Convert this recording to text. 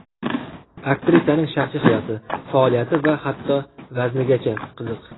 Aktrisaning shaxsiy hayoti, faoliyati va hatto vaznigacha qiziq.